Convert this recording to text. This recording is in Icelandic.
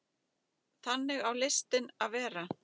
Þannig á listin að vera.